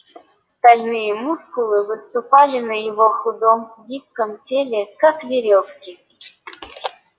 стальные мускулы выступали на его худом гибком теле как верёвки